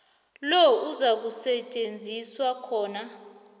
lo izakusetjenziswa khona